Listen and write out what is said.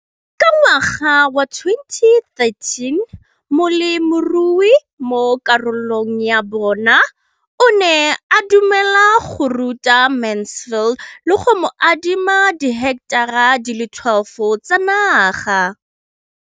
Ka ngwaga wa 2013, molemirui mo kgaolong ya bona o ne a dumela go ruta Mansfield le go mo adima di heketara di le 12 tsa naga.